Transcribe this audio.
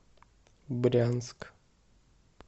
брянск